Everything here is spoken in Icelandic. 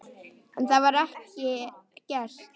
En það var ekki gert.